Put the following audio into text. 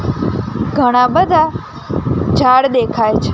ઘણા બધા ઝાડ દેખાય છ--